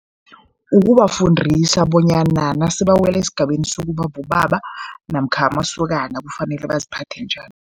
Ukubafundisa bonyana nasebawele esigabeni sokuba bobaba namkha amasokana kufanele baziphathe njani.